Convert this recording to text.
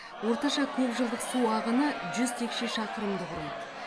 орташа көп жылдық су ағыны жүз текше шақырымды құрайды